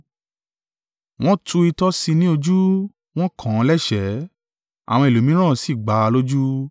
Wọ́n tu itọ́ sí i ní ojú. Wọ́n kàn án lẹ́ṣẹ̀ẹ́. Àwọn ẹlòmíràn sì gbá a lójú.